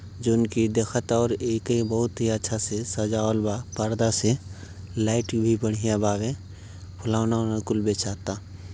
जौन कि देखता और एके बहुत ही अच्छा से सजावल बा परदा से। लाइट भी बढ़िया बावे। फुलौना ओलौना कुल बेचाता।